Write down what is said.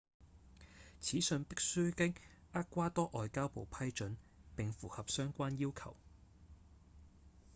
此信必須經厄瓜多外交部批准並符合相關要求